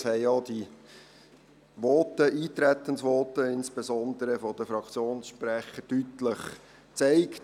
Das haben denn auch die Eintretensvoten, insbesondere diejenigen der Fraktionssprecher, deutlich gezeigt.